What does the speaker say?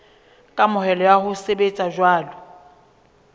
kamohelo ya ho sebetsa jwalo